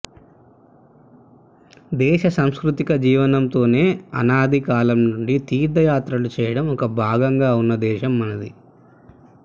దేశ సాంస్కృతిక జీవనంలోనే అనాది కాలం నుండి తీర్థయాత్రలు చేయడం ఒక భాగంగా ఉన్న దేశం మనది